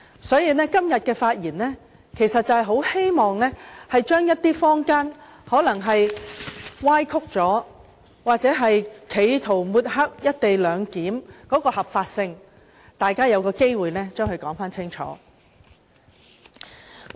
所以，我今天發言是希望指出一些被坊間歪曲或企圖抹黑"一地兩檢"的合法性的說法，讓大家有機會說個清楚。